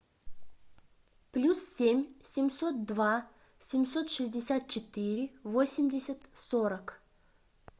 плюс семь семьсот два семьсот шестьдесят четыре восемьдесят сорок